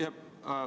Palun!